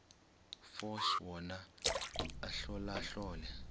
force wona ahlolahlole